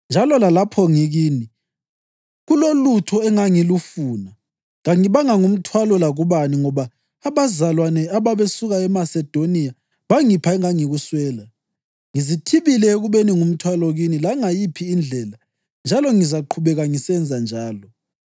Njalo lalapho ngikini kulolutho engangilufuna, kangibanga ngumthwalo lakubani ngoba abazalwane ababesuka eMasedoniya bangipha engangikuswela. Ngizithibile ekubeni ngumthwalo kini langayiphi indlela njalo ngizaqhubeka ngisenza njalo.